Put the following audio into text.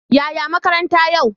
Yaya makaranta yau?